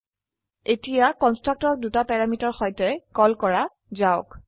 এতিয়া কন্সট্ৰকটৰক দুটা প্যাৰামিটাৰ সৈতে কল কৰা যাওক